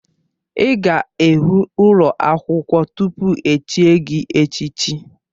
Ị ga-ewu ụlọ akwụkwọ tupu echie gị echichi.